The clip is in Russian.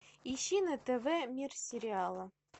ищи на тв мир сериала